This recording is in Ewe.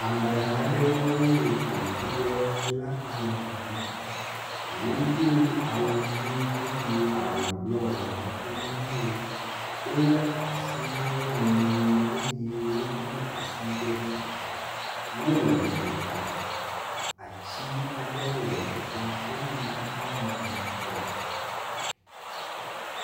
Ameha aɖewoe ƒoƒu ɖe sola panel ŋu. wodo awu dzi eye awu blɔ le kkɔtome na wo. Wo le asi na wo nɔewo eye wodo asi ɖe dzi. Wo le gota atsi aɖe le teƒea eye xexeame kɔ.